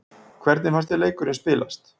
Hvernig fannst þér leikurinn spilast?